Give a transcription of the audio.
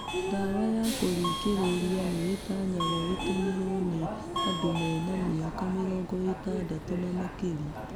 Ndawa ya kũringĩrĩria nĩ itanyagwo ĩtũmirwo nĩ andũ mena mĩaka mĩrongo ĩtandatũ na makĩria.